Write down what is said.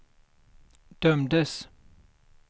dömdes